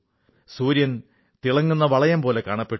സൂര്യൻ തിളങ്ങുന്ന വളയംപോലെ കാണപ്പെട്ടു